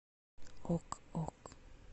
ок ок